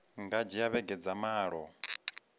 nga dzhia vhege dza malo